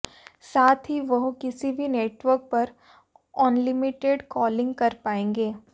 साथ ही वह किसी भी नेटवर्क पर अनलिमिटेड कॉलिंग कर पाएंगे